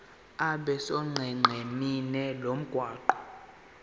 abe sonqenqemeni lomgwaqo